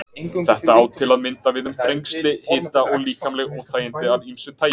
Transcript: Þetta á til að mynda við um þrengsli, hita og líkamleg óþægindi af ýmsu tagi.